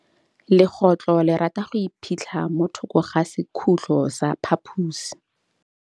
Legôtlô le rata go iphitlha mo thokô ga sekhutlo sa phaposi.